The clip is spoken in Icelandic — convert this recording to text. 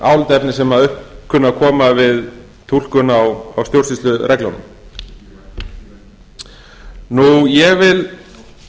álitaefni sem upp kunna að koma við túlkun á stjórnsýslureglunum ég vil